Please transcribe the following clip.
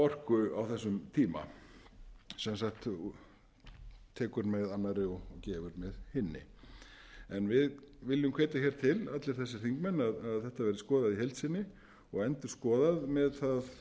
orku á þessum tíma sem sagt tekur með annarri og gefur með hinni en við viljum hvetja til allir þessir þingmenn að þetta verði skoðað í heild sinni og endurskoðað með það